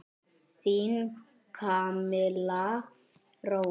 Þín Camilla Rós.